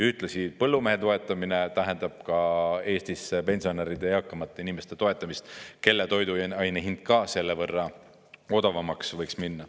Ühtlasi põllumehe toetamine tähendab Eestis pensionäride, eakamate inimeste toetamist, kelle toiduaine hind ka selle võrra odavamaks võiks minna.